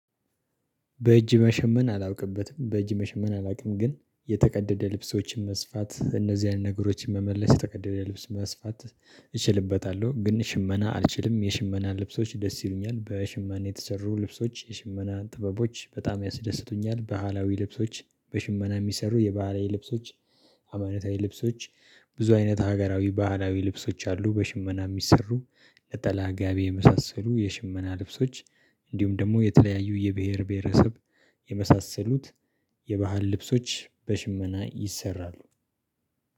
በእጅ መሸመን አላውቅበትም በእጅ መሸመን አላውቅም ግን የተቀደደ ልብሶችን መስፋት እነዚህ ያለ ነገሮችን መመለስ የተቀደደ ልብስ መስፋት እችልበታለሁ። ግን ሽመና አልችልም። የሽመና ልብሶች ደስ ይሉኛል በሽመኔ የተሰሩ ልብሶች የሽመና ጥበቦች በጣም ያስደስቱኛል። ባህላዊ ልብሶች በሽመና የሚሰሩ የባህላዊ ልብሶች አማነታዊ ልብሶች። ብዙ አይነት ሀገራዊ ባህላዊ ልብሶች አሉ። በሽመና የሚሰሩ ለተላጋቢ የመሳሰሉ የሽመና ልብሶች። እንዲሁም ደግሞ የተለያዩ የብሄር ብሄረሰብ የመሳሰሉት። የባህል ልብሶች በሽመና ይሰራሉ።